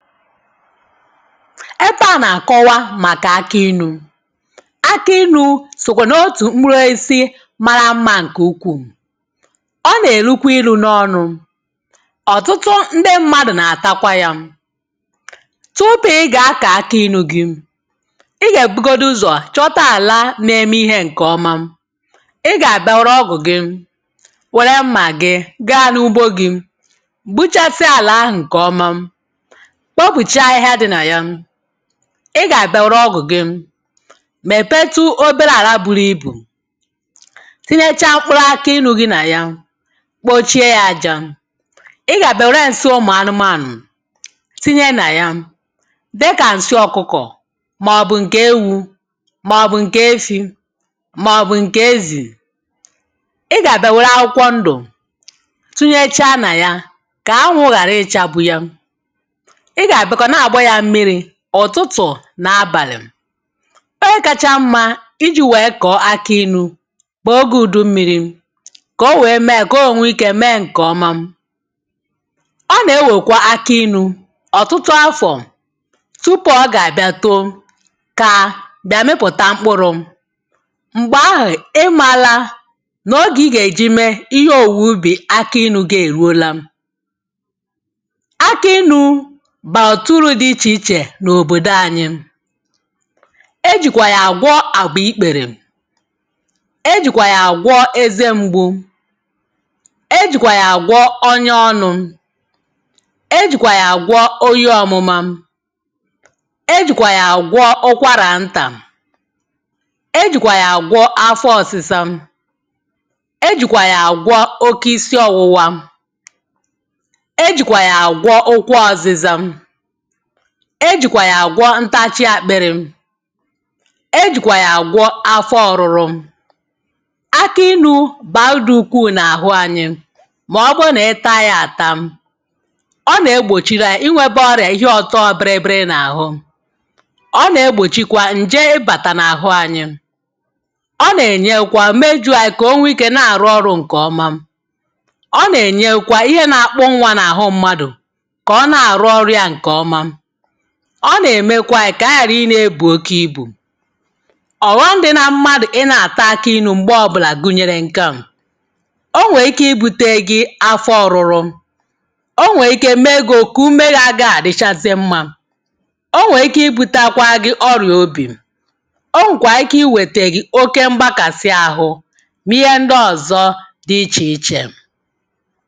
Ebe à nàkọwa màkà akinū. Akinū sòkwè n’otù mkpuruosisi mara mmā ǹkè ukwuu, ọ nàlukwe ilū n’onụ̄, ọ̀tụtụ ndị mmadụ̀ nàtakwa yā, tupu ị gakọ̀ọ akinū gi ị gèbugodu ụzọ̀ chọta àla neme ihē ǹkọ̀ọma ị gàbịa wère ọgụ̀ gị, wère mmà gị, gaa n’ugbo gī gbuchasia àlà ahụ̀ ǹkọ̀ọma, kpopùcha ahịhịa dị nà ya, ị gàbịa wère ọgụ̀ gị mèpetu obere àla buru ibù kụnyechaa mkpụrụ akịnū gi nà ya kpochie yā ajā, ị gàbịa wère ǹsi anumānụ̀ tinye nà ya dịkà ǹsị ọ̀kụkọ̀ mọ̀bụ̀ ǹkè ewū mọ̀bụ̀ ǹkè efī mọ̀bụ̀ ǹkè ezì, ị gàbịa wère akwụkwọ ndụ̀ tunyecha nà ya kà anwụ̄ ghàrị ịchāgbu ya ị gàbịakwa na-àgba yā mmirī ụ̀tụtụ̀ nà abàlì M̀gbe kacha mmā ijī wèe kọ̀ọ akịnū bụ̀ ogē ùdummīrī kò wèe mee kò o wèe nwi ikē mee ǹkọ̀ọma, ọ nà-enwèkwa akịnū ọ̀tụtụ afọ̀ tupu ọ gàbịa too, kaa, bịa mịpụ̀ta mkpụrụ̄ m̀gbà ahụ̀ ị mālā n’òge ị gèji mee ihe òwuwu ubì akilū gi èruola. Akịnū bàrà ọ̀tụtụ uru dị ichè ichè n’òbòdò anyị e jìkwà yà àgwọ àgbịkpèrè, e jìkwà yà àgwọ eze mgbu, e jìkwà yà àgwọ ọnyọ ọnụ̄, e jìkwà yà àgwọ oyi ọ̀mụma e jìkwà yà àgwọ ụkwarà ntà, e jìkwà yà àgwọ afọ ọ̀sịsa, e jìkwà yà àgwọ oke isi òwụwa e jìkwà yà àgwọ ụkwụ ọ̀zịza, e jìkwà yà àgwọ ntachi àkpịrị̄, e jìkwà yà àgwọ afọ ọ̀rụrụ Akinū bàa idī ukwuu n’àhụ anyị mọ̀bụ mà ịta yā àta, ọ nè-egbòchiranyị̄ inwēbọ̄ ọrịà ihe ọ̀tọ biri biri n’àhụ, ọ nè-egbòchikwa ǹje ịbàtà n’àhụ anyị, ọ nènyekwa mejū anyị kà o nwe ikē na-àrụ ọrụ̄ ǹkọ̀ọma, ọ nènyekwa ihe nakpụ nnwā n’àhụ mmadụ̀ ọ nèmekwanyị̄ kànyị yàrị nēbù oke ibù Ọ̀ghọm̄ dị na mmadụ̀ ị nā-àta akụinū m̀gbọ ọbụlà gùnyèrè ǹke à o nwèè ike ibūtere gi afọ ọ̀rụrụ,, o nwèè ike mee gī òkù umē gi agāghị̄ à dịchazị mmā, o nwèè ike ibūtekwa gị ọrịà obì, o nwèkwà ike ị nwètè gì oke mgbakàsị ahụ nà ihe ndị ọ̀zọ dị ichè ichè.